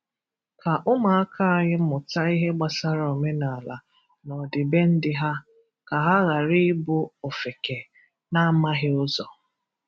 Ka ụmụaka anyị mụta ihe gbasara omenala na ọdịbendị ha, ka ha ghara ịbụ ofeke na-amaghị ụzọ.